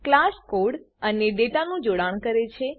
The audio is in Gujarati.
ક્લાસ કોડ અને ડેટાનું જોડાણ કરે છે